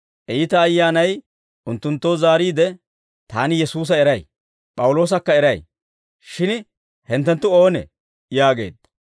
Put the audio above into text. Iita ayyaanay unttunttoo zaariide, «Taani Yesuusa eray; P'awuloosakka eray. Shin hinttenttu oonee?» yaageedda.